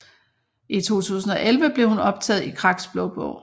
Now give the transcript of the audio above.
I 2011 blev hun optaget i Kraks Blå Bog